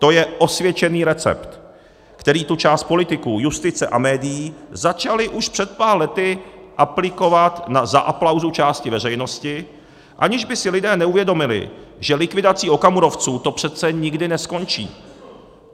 To je osvědčený recept, který tu část politiků, justice a médií začala už před pár lety aplikovat za aplausu části veřejnosti, aniž by si lidé uvědomili, že likvidací okamurovců to přece nikdy neskončí.